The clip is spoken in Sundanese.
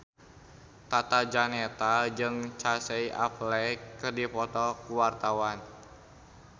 Tata Janeta jeung Casey Affleck keur dipoto ku wartawan